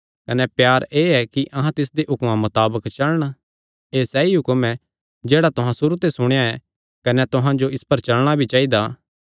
कने प्यार एह़ ऐ कि अहां तिसदे हुक्मां मताबक चलण एह़ सैई हुक्म ऐ जेह्ड़ा तुहां सुरू ते सुणेया ऐ कने तुहां जो इस पर चलणा भी चाइदा